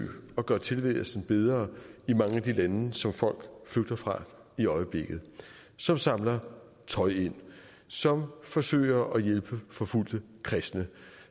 at gøre tilværelsen bedre i mange af de lande som folk flygter fra i øjeblikket som samler tøj ind som forsøger at hjælpe forfulgte kristne